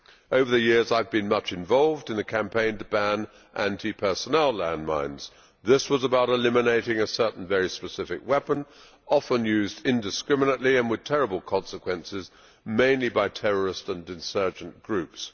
Over the years I have been much involved in the campaign to ban anti personnel landmines. This was about eliminating a certain very specific weapon, often used indiscriminately and with terrible consequences, mainly by terrorist and insurgent groups.